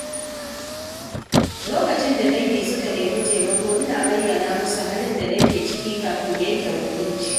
Lokacin da dangi suka nemi taimako, ina bayyana musu halin da nake ciki kafin yanke shawara.